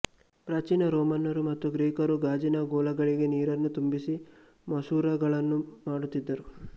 ಪ್ರಾಚೀನ ರೋಮನ್ನರು ಮತ್ತು ಗ್ರೀಕರು ಗಾಜಿನ ಗೋಲಗಳಿಗೆ ನೀರನ್ನು ತುಂಬಿಸಿ ಮಸೂರಗಳನ್ನು ಮಾಡುತ್ತಿದ್ದರು